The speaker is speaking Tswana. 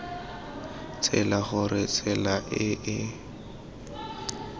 tsela gore tsela e e